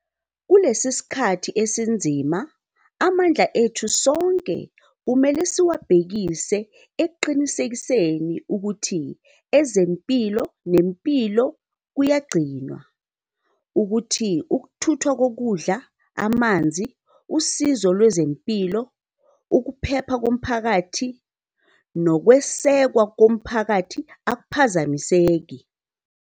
Kulesi sikhathi esinzima, amandla ethu sonke kumele siwabhekise ekuqinisekiseni ukuthi ezempilo nempilo kuyagcinwa, ukuthi ukuthuthwa kokudla, amanzi, usizo lwezempilo, ukuphepha komphakathi nokwesekwa komphakathi akuphazamiseki.